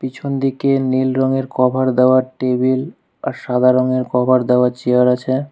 পিছনদিকে নীল রঙের কভার দেওয়া টেবিল আর সাদা রঙের কভার দেওয়া চেয়ার আছে।